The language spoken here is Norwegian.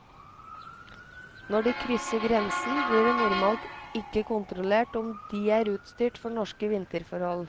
Når de krysser grensen, blir det normalt ikke kontrollert om de er utstyrt for norske vinterforhold.